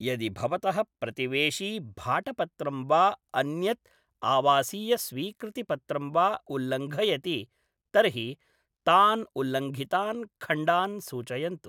यदि भवतः प्रतिवेशी भाटपत्रं वा अन्यत् आवासीयस्वीकृतिपत्रं वा उल्लङ्घयति तर्हि तान् उल्लङ्घितान् खण्डान् सूचयन्तु।